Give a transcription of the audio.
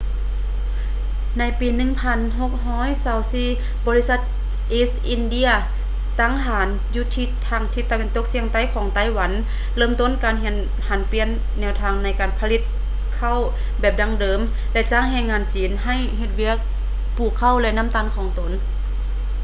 ໃນປີ 1624 ບໍລິສັດ east india ຕັ້ງຖານຢູ່ທາງທິດຕາເວັນຕົກສຽງໃຕ້ຂອງໄຕ້ຫວັນເລີ່ມຕົ້ນການຫັນປ່ຽນແນວທາງໃນການຜະລິດເຂົ້າແບບດັ້ງເດີມ ແລະ ຈ້າງແຮງງານຈີນໃຫ້ເຮັດວຽກປູກເຂົ້າ ແລະ ນໍ້າຕານຂອງຕົນ